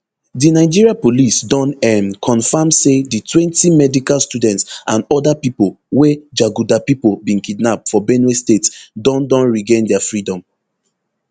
di nigeria police don um confam say di twenty medical students and oda pipo wey jaguda pipo bin kidnap for benue state don don regain dia freedom